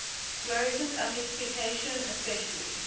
fluorescence amplification especially